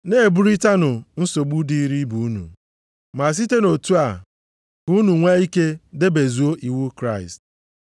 Na-eburịtanụ nsogbu dịrị ibe unu, ma site nʼotu a ka unu nwee ike debezuo iwu Kraịst.